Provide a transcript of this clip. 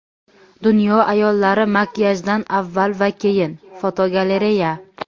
Dunyo ayollari makiyajdan avval va keyin (fotogalereya).